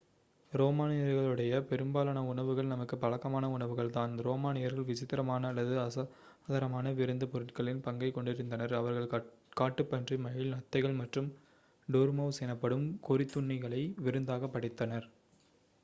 ரோமானியர்களுடைய பெரும்பாலான உணவுகள் நமக்கு பழக்கமான உணவுகள் தான் ரோமானியர்கள் விசித்தரமான அல்லது அசாதரமான விருந்துப் பொருட்களின் பங்கைக் கொண்டிருந்தனர் அவர்கள் காட்டுப்பன்றி மயில் நத்தைகள் மற்றும் டோர்மவுஸ் எனப்படும் கொறித்துண்ணிகளை விருந்தாக படைத்தனர்